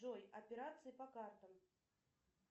джой операции по картам